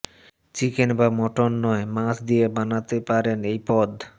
chicken বা mutton নয় মাছ দিয়ে বানাতে পারেন এই পদ